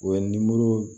U ye nimoro